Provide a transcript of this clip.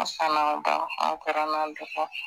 An fa n'an ba , an kɔrɔ n'an dɔgɔ,